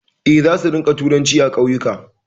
Eh, za su rinƙa turanci a ƙauyuka